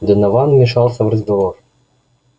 донован вмешался в разговор